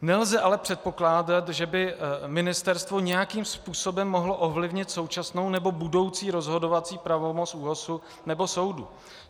Nelze ale předpokládat, že by ministerstvo nějakým způsobem mohlo ovlivnit současnou nebo budoucí rozhodovací pravomoc ÚOHS nebo soudu.